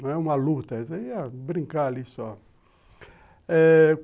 Não é uma luta, ia brincar ali só.